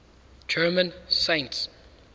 german saints